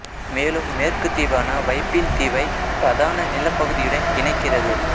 மேலும் மேற்கு தீவான வைப்பீன் தீவை பிரதான நிலப்பகுதியுடன் இணைக்கிறது